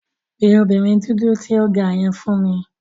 Pe obinrin dudu ti o ga yen fun mi!